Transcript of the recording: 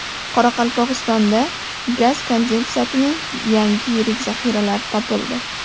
Qoraqalpog‘istonda gaz kondensatining yangi yirik zaxiralari topildi.